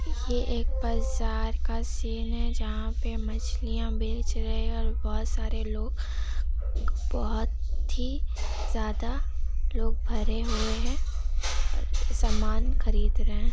ये एक बाजार का सीन है जहाँ पे मछलियाँ बेच रहें हैं और बहुत सारे लोग बहुत ही ज्यादा लोग भरे हुए हैं और सामान खरीद रहें हैं।